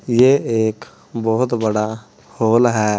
ये एक बहुत बड़ा हॉल है।